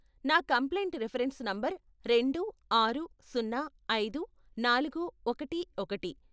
నా complaint reference number రెండు, ఆరు, సున్నా, ఐదు, నాలుగు, ఒకటి, ఒకటి, .